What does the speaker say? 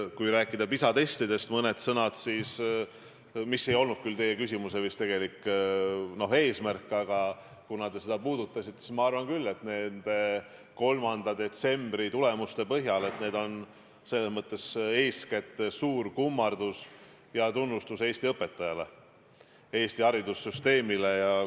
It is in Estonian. Kui rääkida mõni sõna PISA testidest, mis ei olnud vist küll teie küsimuse tegelik eesmärk, aga kuna te seda puudutasite, siis ütlen, et mina arvan küll 3. detsembri tulemuste põhjal, et need on eeskätt suur kummardus ja tunnustus Eesti õpetajale, Eesti haridussüsteemile.